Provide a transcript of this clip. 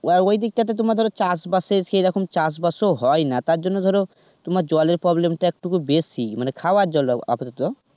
ওই ওই দিকটা তে তোমার ধরো চাষ বাসের, সেরকম চাষবাস ও হয়না তার জন্য ধরো তোমার জলের problem টা একটু বেশী, মানে খাবার জল অবশ্য.